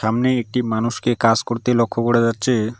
সামনে একটি মানুষকে কাজ করতে লক্ষ্য করা যাচ্ছে।